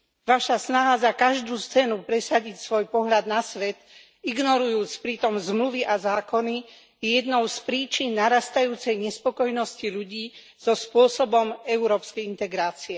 Vaša snaha za každú cenu presadiť svoj pohľad na svet, ignorujúc pritom zmluvy a zákony, je jednou z príčin narastajúcej nespokojnosti ľudí so spôsobom európskej integrácie.